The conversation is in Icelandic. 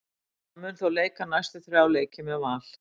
Hann mun þó leika næstu þrjá leiki með Val.